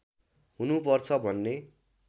हुनु पर्छ भन्ने